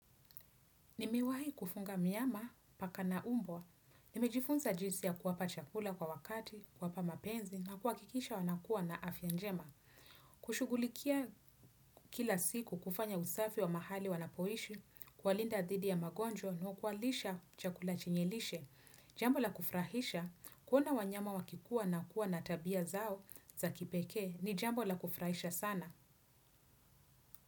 Nimewahi kufunga myama paka na umbwa. Nimejifunza jinsi ya kuwapa chakula kwa wakati, kuwapa mapenzi, na kuhakikisha wanakua na afya njema. Kushugulikia kila siku kufanya usafi wa mahali wanapoishi, kuwalinda dhidi ya magonjwa, na kuwalisha chakula chenye lishe. Jambo la kufurahisha, kuona wanyama wakikua na kuwa na tabia zao za kipeke, ni jambo la kufurahisha sana.